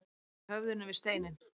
Að berja höfðinu við steininn